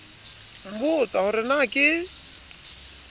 nbotsa ho re na ke